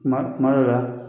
Kuma kuma dɔw la